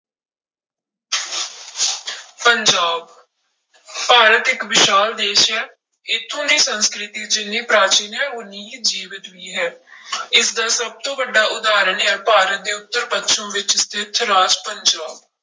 ਪੰਜਾਬ ਭਾਰਤ ਇੱਕ ਵਿਸ਼ਾਲ ਦੇਸ ਹੈ ਇੱਥੋਂ ਦੀ ਸੰਸਕ੍ਰਿਤੀ ਜਿੰਨੀ ਪ੍ਰਾਚੀਨ ਹੈ ਓਨੀ ਹੀ ਜੀਵਤ ਵੀ ਹੈ ਇਸਦਾ ਸਭ ਤੋਂ ਵੱਡਾ ਉਦਾਹਰਨ ਹੈ ਭਾਰਤ ਦੇ ਉੱਤਰ ਪੱਛਮ ਵਿੱਚ ਸਥਿੱਤ ਰਾਜ ਪੰਜਾਬ।